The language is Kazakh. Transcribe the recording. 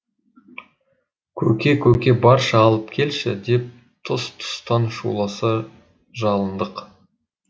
көке көке баршы алып келші деп тұс тұстан шуласа жалындық